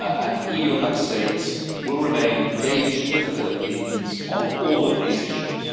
The EU and Member States will remain engaged with the Philippines on all of these issues.